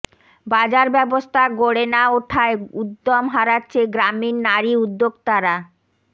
বাজার ব্যবস্থা গড়ে না উঠায় উদ্যম হারাচ্ছে গ্রামীণ নারী উদ্যোক্তারা